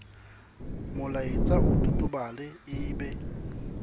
molaetsa o totobale e be